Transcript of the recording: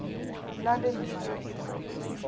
london heathrow airport